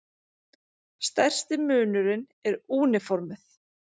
Stærsti munurinn er úniformið.